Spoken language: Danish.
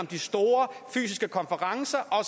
de store fysiske konferencer og